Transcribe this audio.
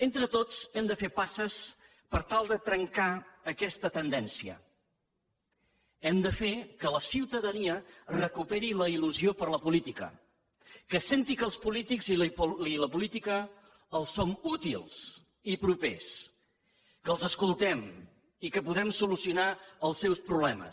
entre tots hem de fer passes per tal de trencar aquesta tendència hem de fer que la ciutadania recuperi la illusió per la política que senti que els polítics i la política els som útils i propers que els escoltem i que podem solucionar els seus problemes